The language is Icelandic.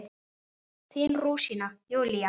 Þín rúsína, Júlía.